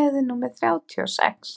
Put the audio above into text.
leið númer þrjátíu og sex?